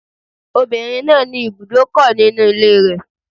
The woman has a car park in her house